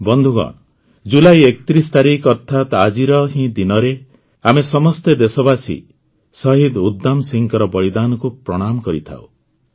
ବନ୍ଧୁଗଣ ଜୁଲାଇ ୩୧ ତାରିଖ ଅର୍ଥାତ୍ ଆଜିର ହିଁ ଦିନରେ ଆମେ ସମସ୍ତ ଦେଶବାସୀ ଶହୀଦ ଉଧମ୍ ସିଂହଙ୍କ ବଳିଦାନକୁ ପ୍ରଣାମ କରିଥାଉଁ